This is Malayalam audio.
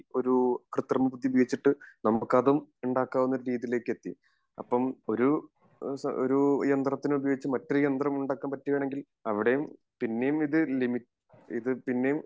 ഈ ഒരു കൃത്രിമ ബുദ്ധി ഉപയോഗിച്ചിട്ട് നമുക്ക് അതും ഉണ്ടാകാവുന്ന രീതിയിലേക്ക് എത്തി അപ്പോം ഒരു യന്ത്രത്തിനെ ഉപയോഗിച്ച് മറ്റൊരു യന്ത്രം ഉണ്ടാകാൻ പറ്റുവാണെങ്കിൽ അവിടേം പിന്നേം ഇത് ലിമി ഇത് പിന്നേം